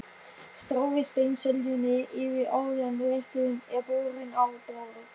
Stráið steinseljunni yfir áður en rétturinn er borinn á borð.